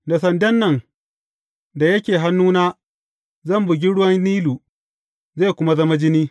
Da sandan da yake hannuna zan bugi ruwan Nilu, zai kuma zama jini.